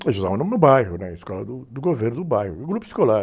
A gente estudava lá no bairro, né? A escola do, do governo do bairro, no grupo escolar.